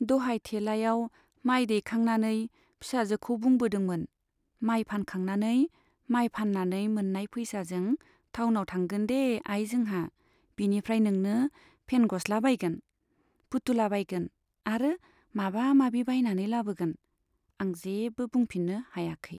दहाय थेलायाव माय दैखांनानै फिसाजोखौ बुंबोदोंमोन, माइ फानखांनानै माइ फान्नानै मोन्नाय पैसाजों टाउनाव थांगोनदे आइ जोंहा, बिनिफ्राइ नोंनो पेन गस्ला बायगोन , पुतुला बायगोन आरो माबा माबि बायनानै लाबोगोन, आं जेबो बुंफिन्नो हायाखै।